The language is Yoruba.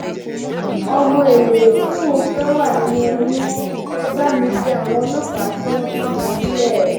ọmọ èlé tí mò ń fẹ wà nínú oyún ẹ bá mi bẹ àwọn ọlọpàá kí wọn tú mi sílẹ